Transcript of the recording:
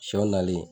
Shɛw nali